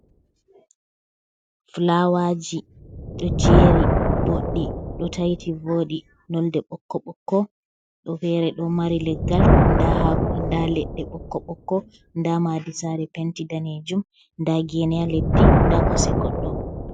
Flawaji do jeri bodi do taiti vodi nonde bokko bokko, do fere do mari leggal da ledde bokko bokko da madusare penti danejum da geneya leddi da kose goddo.